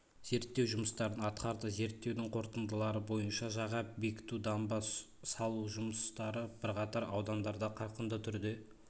зерттеу жұмыстарын атқарды зерттеудің қорытындылары бойынша жаға бекіту дамба салу жұмыстары бірқатар аудандарда қарқынды түрде